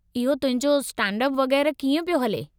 इहो तुहिंजो स्टैंड-अप वगै़रह कीअं पियो हले?